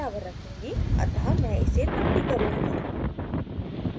अतः मैं इसे 30 करुँगी